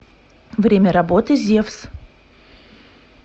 время работы зевс